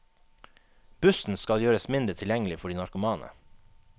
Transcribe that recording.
Bussen skal gjøres mindre tilgjengelig for de narkomane.